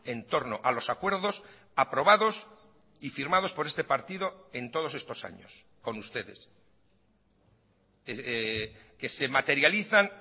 en torno a los acuerdos aprobados y firmados por este partido en todos estos años con ustedes que se materializan